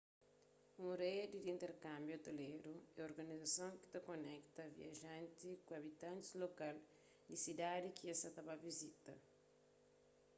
un redi di interkânbiu ôteleru é organizason ki ta konekta viajantis ku abitantis lokal di sidadis ki es sa ta ba vizita